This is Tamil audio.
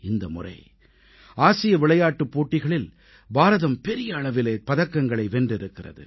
இந்த முறை ஆசிய விளையாட்டுப் போட்டிகளில் பாரதம் பெரிய அளவிலே பதக்கங்களை வென்றிருக்கிறது